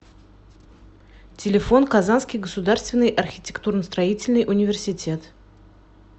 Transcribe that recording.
телефон казанский государственный архитектурно строительный университет